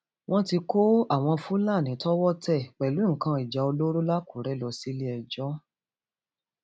wọn ti kó àwọn fúlàní tọwọ tẹ pẹlú nǹkan ìjà olóró làkúrẹ lọ síléẹjọ